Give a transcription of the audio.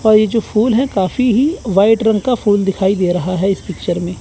और ये जो फूल है काफी ही व्हाइट रंग का फूल दिखाई दे रहा है इस पिक्चर में।